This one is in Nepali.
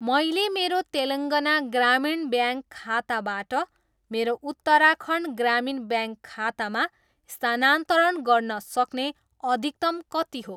मैले मेरो तेलङ्गाना ग्रामीण ब्याङ्क खाताबाट मेरो उत्तराखण्ड ग्रामीण ब्याङ्क खातामा स्थानान्तरण गर्न सक्ने अधिकतम कति हो?